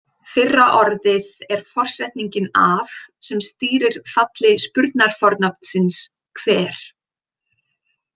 Fyrra orðið er forsetningin af sem stýrir falli spurnarfornafnsins hver.